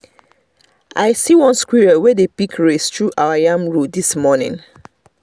i see one squirrel wey dey pick race through our yam row this morning